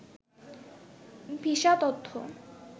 visa তথ্য